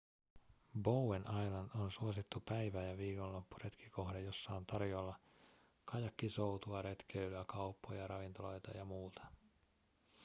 bowen island on suosittu päivä- ja viikonloppuretkikohde jossa on tarjolla kajakkisoutua retkeilyä kauppoja ravintoloita ja muuta